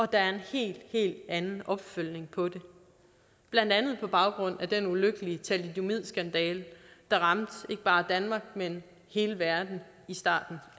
der er en helt helt anden opfølgning på det blandt andet på baggrund af den ulykkelige thalidomidskandale der ramte ikke bare danmark men hele verden i starten